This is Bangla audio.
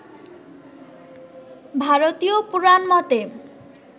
ভারতীয় পুরাণমতে